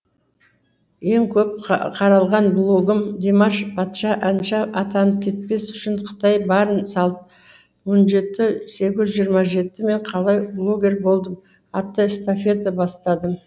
ең көп қаралған блогым димаш патша әнші атанып кетпес үшін қытай барын салды он жеті сегіз жүз жиырма жеті мен қалай блогер болдым атты эстафета бастадым